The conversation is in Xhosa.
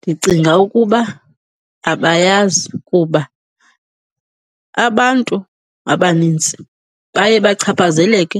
Ndicinga ukuba abayazi kuba abantu abanintsi baye bachaphazeleke